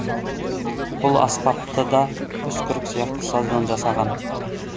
бұл аспапты да үскірік сияқты саздан жасаған